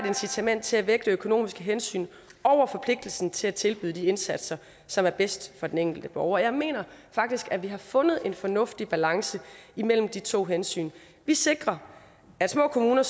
incitament til at vægte økonomiske hensyn over forpligtelsen til at tilbyde de indsatser som er bedst for den enkelte borger jeg mener faktisk at vi har fundet en fornuftig balance imellem de to hensyn vi sikrer at små kommuner